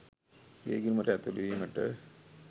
ඒ ගිණුමට ඇතුළු වීමට